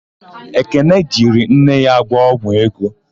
Ekene jiri nne ya gwọ ọgwụ ego.